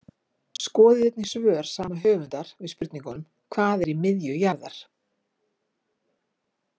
Skoðið einnig svör sama höfundar við spurningunum Hvað er í miðju jarðar?